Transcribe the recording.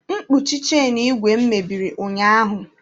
Mkpuchi chenu ígwè m mebiri ụnyaahụ.